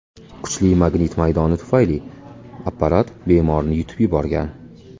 Kuchli magnit maydoni tufayli apparat bemorni yutib yuborgan.